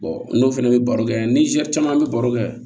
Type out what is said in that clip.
n'o fana bɛ baro kɛ ni zɛri caman bɛ baro kɛ